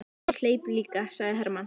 Já, og hleyp líka, sagði Hermann.